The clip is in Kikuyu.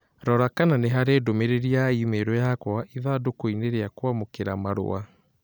Rora kana nĩ harĩ ndũmĩrĩri ya i-mīrū yakwa ithandūkū inī rīa kwamūkīra marua